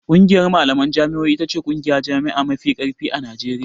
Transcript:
ƙungiyar malaman jami'o'i ita ce ƙungiyar jami'a mafi ƙarfi a Najeriya.